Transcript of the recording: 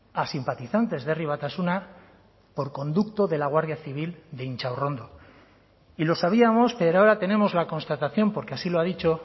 a simpatizantes de herri batasuna por conducto de la guardia civil de intxaurrondo y lo sabíamos pero ahora tenemos la constatación porque así lo ha dicho